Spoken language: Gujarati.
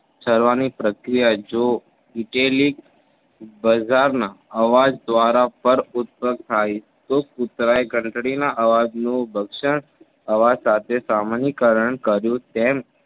સારવાર પ્રક્રિયા જો વીતેલી બજારમાં અવાજ દ્વારા પરઉત્પક થાય તો કુતરા એ ઘંટડીના અવાજનો ભક્ષણ અવાજ સાથે સામાન્યકરણ કર્યું. તેમ